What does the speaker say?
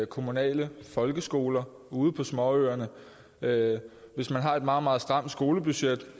kommunale folkeskoler ude på småøerne hvis man har et meget meget stramt skolebudget